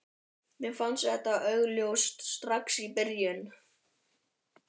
Mér fannst það augljóst strax í byrjun.